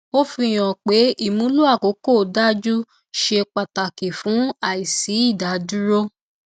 ó fi hàn pé ìmúlò àkókò dájú ṣe pàtàkì fún àìsí ìdádúró